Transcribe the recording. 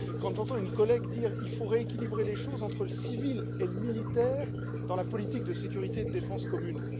J'entends une collègue dire qu'il faut rééquilibrer les choses entre le civil et le militaire dans la politique de sécurité et de défense commune.